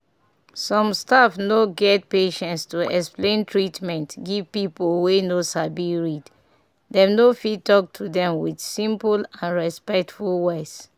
some staff no get patience to explain treatment give pipu wey no sabi read dem no fit talk to dem with simple and respectful words.